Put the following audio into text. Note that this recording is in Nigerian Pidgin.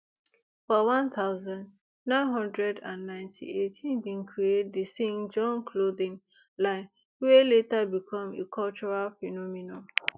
for one thousand, nine hundred and ninety-eight im bin create di sean john clothing line wey later become a cultural phenomenon